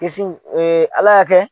Kisiw ee ala y'a kɛ